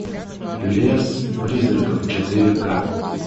лес призраков четыре ка